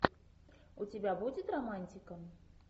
у тебя будет романтика